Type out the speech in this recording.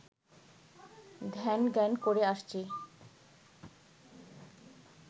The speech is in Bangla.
ধ্যান-জ্ঞান করে আসছি